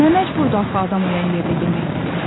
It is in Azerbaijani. Nə məcburdur axı adam ölən yerdə yemək yeyək.